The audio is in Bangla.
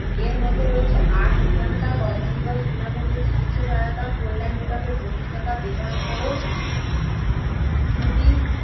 এরমধ্যে রয়েছে আট ঘন্টা কর্ম দিবস বিনামূল্যে চিকিৎসা সহায়তা কল্যাণ বিভাগের প্রতিষ্ঠাতা বেতনসহ ছুটি।